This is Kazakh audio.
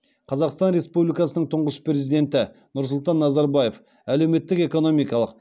қазақстан республикасының тұңғыш президенті нұрсұлтан назарбаев әлеуметтік экономикалық